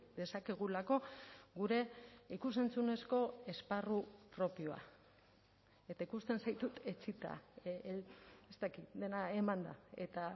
dezakegulako gure ikus entzunezko esparru propioa eta ikusten zaitut etsita ez dakit dena emanda eta